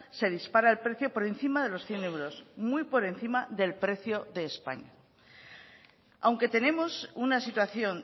se dispara el precio por encima de los cien euros muy por encima del precio de españa aunque tenemos una situación